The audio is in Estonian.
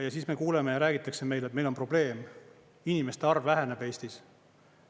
Ja siis me kuuleme ja räägitakse meil, et meil on probleem, inimeste arv väheneb Eestis.